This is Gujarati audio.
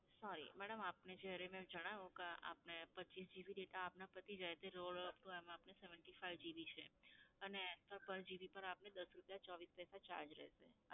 sorry madam આપને જ્યારે મે જણાવ્યું કે આપને પચ્ચીસ GB data આપના પતી જાય એટલે rollover upto એમાં આપને GB છે અને per GB આપને દસ રૂપિયા ચોવીસ પૈસા charge રહેશે.